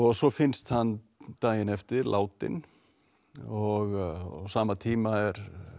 svo finnst hann daginn eftir látinn og á sama tíma eru